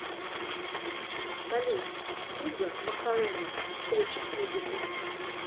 салют туга макарена включить музыку